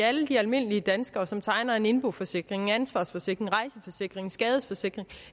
alle de almindelige danskere som tegner en indboforsikring en ansvarsforsikring en rejseforsikring en skadesforsikring